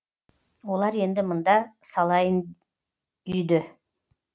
олар енді мында салайын үйді